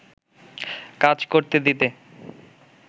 কাজ করতে দিতে